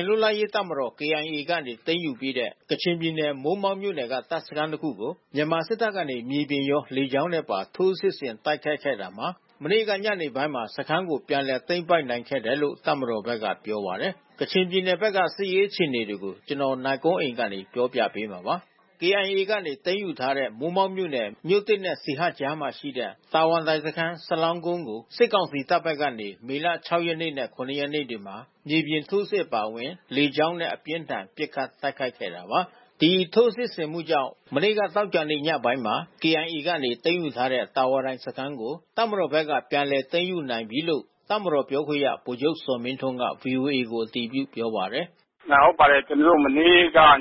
တ်လပ်ရေးတပ်မတော် (KIA) ကနေ သိမ်းယူပြီးတဲ့ ကချင်ပြည်နယ် မိုးမောက်မြို့နယ်က တပ်စခန်းတခုကို မြန်မာစစ်တပ်ကနေ မြေပြင်ရော လေကြောင်းနဲ့ပါ ထိုးစစ်ဆင် တိုက်ခိုက်ခဲ့တာမှာ မနေ့ညနေပိုင်းမှာ စခန်းကို ပြန်လည်သိမ်းပိုက်နိုင်ခဲ့တယ်လို့ တပ်မတော်ဘက်က ပြောပါတယ်။ ကချင်ပြည်နယ်ဘက် စစ်ရေးအခြေအနေတွေကို နိုင်ကွန်းအိန် တင်ပြပေးထားပါတယ်။ KIA ကနေ သိမ်းယူထားတဲ့ မိုးမောက်မြို့နယ် မြို့သစ်နဲ့ ဆီဟပ်ကြားမှာရှိတဲ့ တာဝါတိုင်စခန်း (စလောင်းကုန်း) ကို စစ်ကောင်စီတပ်ဘက်ကနေ မေလ ၆ ရက်နေ့နဲ့ ၇ ရက်နေ့တွေမှာ မြေပြင်ထိုးစစ် အပါအဝင် လေကြောင်းနဲ့ အပြင်းအထန် ပစ်ခတ်တိုက်ခိုက်ခဲ့တာပါ။ ဒီထိုးစစ်ဆင်မှုကြောင့် မနေ့က သောကြာနေ့ညပိုင်းမှာ KIA ကနေ သိမ်းယူထားတဲ့ တာဝါတိုင်စခန်းကို တပ်မတော်ဘက်က ပြန်လည်သိမ်းယူနိုင်ပြီလို့ တပ်မတော်ပြောခွင့်ရ ဗိုလ်ချုပ်ဇော်မင်းထွန်းက ဗွီအိုအေကို အတည်ပြု ပြောပါတယ်။ “ဟုတ်ပါတယ်။ မနေ့ညက ၇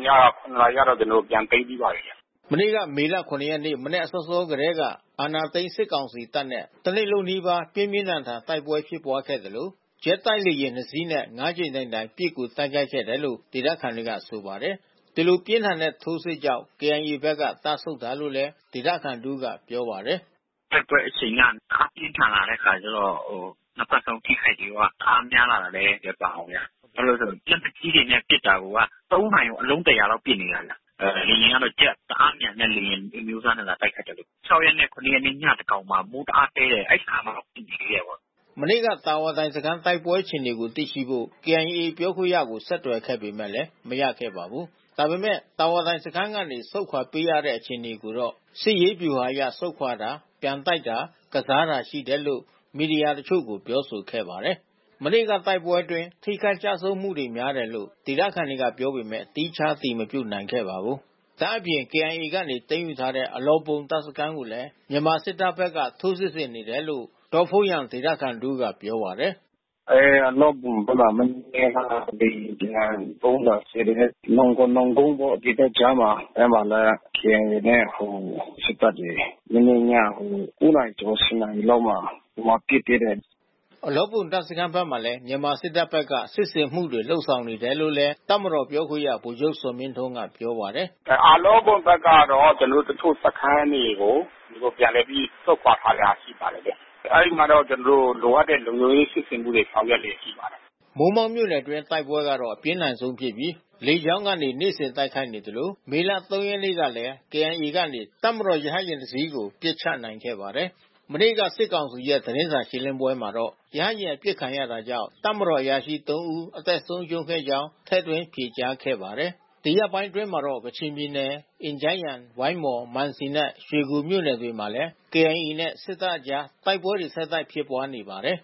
နာရီကတော့ ကျနော်တို့ ပြန်သိမ်းပြီးပါပြီ။” မနေ့ မေလ ၇ ရက်နေ့ မနက်စောစော အချိန်ကတည်းက အာဏာသိမ်း စစ်ကောင်စီတပ်နဲ့ တနေ့လုံးနီးပါး ပြင်းပြင်းထန်ထန် တိုက်ပွဲဖြစ်ပွားခဲ့သလို ဂျက်တိုက်လေယာဉ်နှစ်စီးနဲ့ ၅ ကြိမ်တိုင်တိုင် ပစ်ကူတိုက်ခိုက်ခဲ့တယ်လို့ ဒေသခံတွေက ဆိုပါတယ်။ ဒီလို ပြင်းထန်ထိုးစစ်ကြာင့် KIA ဘက်က တပ်ဆုတ်တာလို့လည်း ဒေသခံတဦးက ပြောပါတယ်။ “တိုက်ပွဲအရှိန်က တအားပြင်းထန်လာတဲ့ အခါကျတော့ နှစ်ဖက်စလုံး ထိခိုက်တာတွေက တအားများလာတာလည်း ပါတယ်ဗျ။ ဘာလဲဆိုတော့ လက်နက်ကြီးနဲ့ ပစ်တာကိုက သုံးနာရီကို အလုံး ၁၀၀ လောက်ပစ်နေတာ။ လေယာဉ်ကတော့ ဂျက် တအားမြန်တဲ့ လေယာဉ်အမျိုးအစားနဲ့ လာတိုက်တဲ့အခါကျတော့။ ၆ ရက်နဲ့ ၇ ရက်နေ့ ညသန်းခေါင်မှာ မိုးတအားသည်းတယ်၊ အဲဒီအခါမှာ ပစ်သေးတယ်။” မနေ့က တာဝါတိုင်စခန်း တိုက်ပွဲအခြေအနေကို သိရှိဖို့ KIA ပြောခွင့်ရကို ဆက်သွယ်ခဲ့ပေမယ့် မရခဲ့ပါဘူး။ ဒါပေမယ့် တာဝါတိုင်စခန်းကနေ ဆုတ်ခွာပေးတဲ့ အခြေအနေကိုတော့ စစ်ရေးဗျူဟာအရ ဆုတ်ခွာတာ၊ ပြန်တိုက်တာ၊ ကစားတာ ရှိတယ်လို့ မီဒီယာတချို့ကို ပြောဆိုခဲ့ပါတယ်။ မနေ့ကတိုက်ပွဲအတွင်း ထိခိုက်ကျဆုံးမှုတွေ များတယ်လို့ ဒေသခံတွေက ပြောပေမယ့် သီးခြားအတည်မပြုနိုင်ပါဘူး။ ဒါ့အပြင် KIA ကနေ သိမ်းယူထားတဲ့ အလောဘွမ်တပ်စခန်းကိုလည်း မြန်မာစစ်တပ်ဘက်က ထိုးစစ်ဆင်နေတယ်လို့ ဒေါ့ဖုန်းယန်ဒေသခံတဦးက ပြောပါတယ်။ “အလောဘွမ်ဘက်မှာ မနေ့က လေယာဉ်ပျံ ဗုံးလာကြဲတယ်။ နောင်ကွန်နောင်ကုန်းပေါ့ ဒီဘက်ခြမ်းမှာ၊ အဲဒီမှာလည်း KIO နဲ့ စစ်တပ်တွေ မနေ့ည ၉ နာရီကျော် ၁၀ နာရီလောက် ဟိုမှာပစ်သေးတယ်။” အလောဘွမ်တပ်စခန်းဘက်မှာလည်း မြန်မာစစ်တပ်ဘက်က စစ်ဆင်မှုတွေ လုပ်ဆောင်နေတယ်လို့လည်း တပ်မတော်ပြောခွင့်ရ ဗိုလ်ချုပ်ဇော်မင်းထွန်းက ပြောပါတယ်။ “အလောဘွမ်ဘက်ကတော့ ကျနော်တို့ တချို့စခန်းတွေကို ပြန်လည်ပြီး ဆုတ်ခွာတဲ့စခန်းတွေ ရှိပါတယ်ဗျ။ အဲဒီမှာတော့ ကျနော်တို့ လိုအပ်တဲ့ လုံခြုံရေး စစ်ဆင်မှုတွေ ဆောင်ရွက်လျက်ရှိပါတယ်။” မိုးမောက်မြို့နယ်အတွင်း တိုက်ပွဲကတော့ အပြင်းထန်ဆုံးဖြစ်ပြီး လေကြောင်းက နေ့စဉ်တိုက်ခိုက်နေသလို မေလ ၃ ရက်နေ့ကလည်း KIA ကနေ တပ်မတော်ရဟတ်ယာဉ်တစီးကို ပစ်ချခဲ့ပါတယ်။ မနေ့က စစ်ကောင်စီရဲ့ သတင်းစာရှင်းလင်းပွဲမှာတော့ ရဟတ်ယာဉ် အပစ်ခံရတာကြောင့် တပ်မတော်အရာရှိ ၃ ဦး အသက်ဆုံးရှုံးခဲ့ကြောင်း ထည့်သွင်း ဖြေကြားခဲ့ပါတယ်။ ဒီရက်ပိုင်းအတွင်းမှာတော့ ကချင်ပြည်နယ် အင်ဂျန်းယန်၊ ဝိုင်းမော်၊ မန်စီနဲ့ ရွှေကူဘက်တွေမှာလည်း KIA နဲ့ စစ်တပ်အကြား တိုက်ပွဲတွေ ဆက်တိုက်ဖြစ်ပွားနေပါတယ်